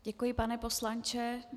Děkuji, pane poslanče.